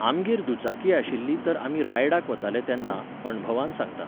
आमगेर दुचाकी आशिल्ली तर आमी रायडाक वताले तेन्ना, अणभवान सांगतां.